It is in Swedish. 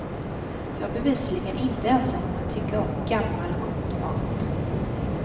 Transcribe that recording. Jag är bevisligen inte ensam om att tycka om gammal, god mat.